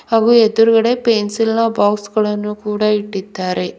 ಹಾಗೂ ಎಡ್ರುಗದೆ ಪೆನ್ಸಿಲ್ ನ ಬಾಕ್ಸ್ ಗಳನ್ನು ಕೂಡ ಇಟ್ಟಿದ್ದಾರೆ.